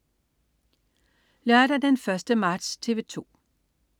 Lørdag den 1. marts - TV 2: